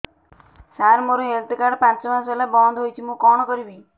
ସାର ମୋର health card ପାଞ୍ଚ ମାସ ହେଲା ବଂଦ ହୋଇଛି ମୁଁ କଣ କରିବି